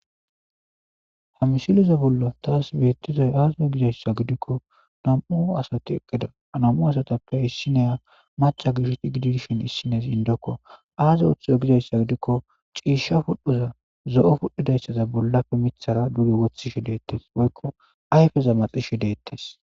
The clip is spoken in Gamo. Ha misileza bolla taas beettizay aaze gidizay gidikko nam7u asati eqqida .Ha nam7u asatappe issiniya macca gidishin issinezi addeko.aazi oothizo gidikko ciishsha pudhdhoza zo7o pudhdhazasaza bollappe miththar duge woththishe deettees woykko ayfeza maxishe deettees.